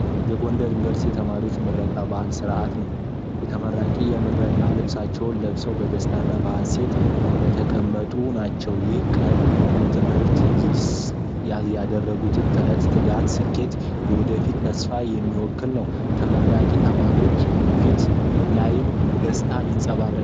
የ ጎንደር ዩኒቨርሲቲ የተማሪዎች የምረቃ በዓል ስነ ስራዓት ነው። ተመራቂዎች የምረቃ ልብሳቸው ለብሰው በደስታና በሀሴት እንደተቀመጡ ናቸው። ይህ ቀን ለትምህርት ይስደረጉትን ጥረት፣ ትጋት፣ ስኬትና የወደፊት ተስፋን የሚወክል ነው። ተመራቂ ተማሪዎች ፊት ላይም ደስታ ይንፀባረቃል።